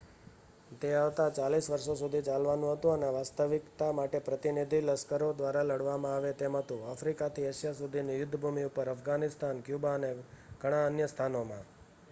તે આવતા 40 વર્ષો સુધી ચાલવાનુ હતુ અને વાસ્તવિકતા માટે પ્રતિનિધિ લશ્કરો દ્વારા લડવામાં આવે તેમ હતુ આફ્રિકાથી એશિયા સુધીની યુદ્ધ ભૂમિ ઉપર અફઘાનિસ્તાન ક્યુબા અને ઘણા અન્ય સ્થાનોમાં